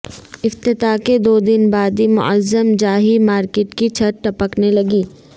افتتاح کے دو دن بعد ہی معظم جاہی مارکٹ کی چھت ٹپکنے لگی